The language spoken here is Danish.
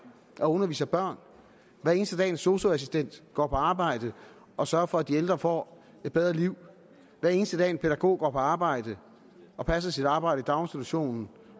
og underviser børn hver eneste dag en sosu assistent går på arbejde og sørger for at de ældre får et bedre liv hver eneste dag en pædagog går på arbejde og passer sit arbejde i daginstitutionen